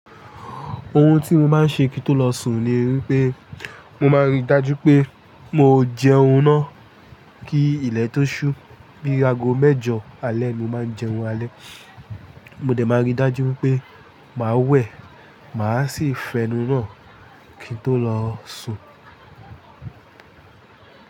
Ohun tí mo máa ń ṣe kí n tó lọ sùn ni wípé mo máa ń rí dájú pé mo jẹun ná kí ilé tó ṣú, bí ago mẹ́jọ alẹ́ ni mo máa ń jẹun alẹ́. Mo dẹ máa rí dájú pé màá wẹ̀, màá sì fẹnù náà kí n tó lọ sùn.